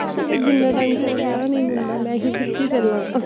ਮੈਂ ਕਿਹਾ ਜਿੰਨਾ ਟੈਮ ਤੇਰਾ ਵਿਆਹ ਨੀ ਹੁੰਦਾ ਮੈਂ ਹੀ ਖਿੱਚੀ ਚਲਾ